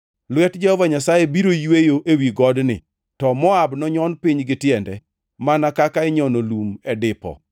Lwet Jehova Nyasaye biro yweyo ewi godni, to Moab nonyon piny gi tiende, mana kaka inyono lum e dipo.